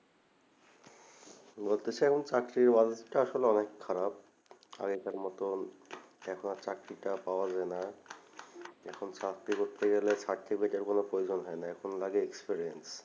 বলতে চাই এখন চাকরির বাজারটা আসলে অনেক খারাপ আগেকার মতো এখন আর চাকরিটা পাওয়া যায় না এখন চাকরি করতে গেলে certificate এর কোনো প্রয়জন হয় না এখন লাগে experience